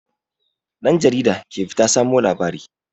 Ɗan jarida ke fita samo labarai.